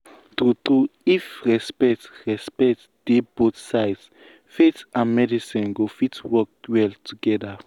true true if respect respect dey both sides faith and medicine go fit work well together.